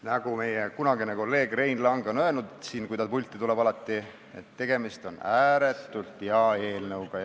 Nagu meie kunagine kolleeg Rein Lang ütles alati, kui ta siia pulti tuli: tegemist on ääretult hea eelnõuga.